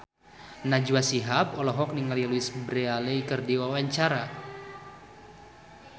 Najwa Shihab olohok ningali Louise Brealey keur diwawancara